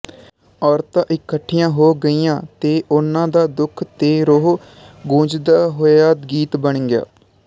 ਔਰਤਾਂ ਇਕੱਠੀਆਂ ਹੋ ਗਈਆਂ ਤੇ ਉਨ੍ਹਾਂ ਦਾ ਦੁੱਖ ਤੇ ਰੋਹ ਗੂੰਜਦਾ ਹੋਇਆ ਗੀਤ ਬਣ ਗਿਆ